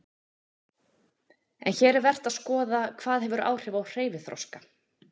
En hér er vert að skoða hvað hefur áhrif á hreyfiþroska.